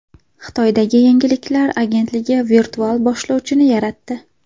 Xitoydagi yangiliklar agentligi virtual boshlovchini yaratdi.